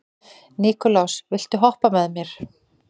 Nikulás, viltu hoppa með mér?